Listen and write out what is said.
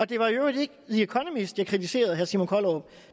det var i øvrigt ikke the economist jeg kritiserede herre simon kollerup